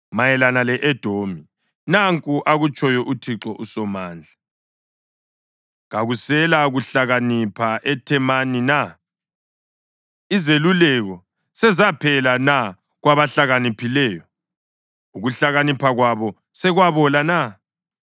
Mayelana le-Edomi: Nanku akutshoyo uThixo uSomandla: “Kakuselakuhlakanipha eThemani na? Izeluleko sezaphela na kwabahlakaniphileyo? Ukuhlakanipha kwabo sekwabola na?